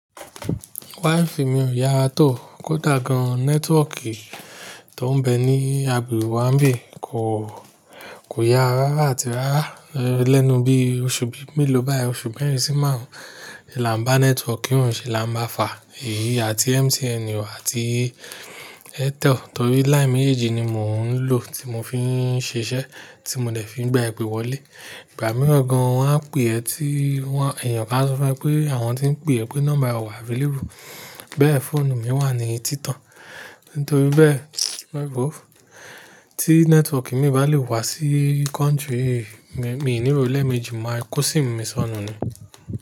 Wifi mi ò yára tó, kódà gan nẹ́tíwọ̀kì tó ń bẹ ní agbègbè wà ń bí kò, kò yára rárá àti rárá. Lẹ́nu bí oṣù bí mẹ́lò báyìí, oṣù mẹ́rin sí márùn-ún, la n bá nẹ́tíwọ́kì òun ṣe lá bá fà èyí àti MTN àti Airtel torí line mèjí ni mò ń lò tí mò fi ń ṣiṣẹ́, tí mo dẹ̀ fi ń gba ipè wọlé. Ìgbà mìíràn gan wọ́n á pè ẹ́ tí wọ́n, èèyàn bá sọfẹ́ pé àwọn tí ń pè ẹ́ pé nọ́mbà ọ̀ wá available. Bẹ́ẹ̀ fóònù mi wà ní títàn. Nítorí bẹ́ẹ̀, e woo Tí nẹ́tíwọ̀kì mi bá lè wá sí country mi, èmi nírọ̀lẹ́ méjì máa kọ́ sim mi sọnù ni.